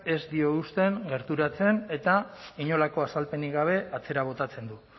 ez dio uzten gerturatzen eta inolako azalpenik gabe atzera botatzen du